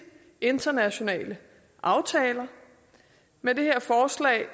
internationale aftaler med det her forslag